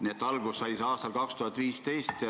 Nii et alguse sai see aastal 2015.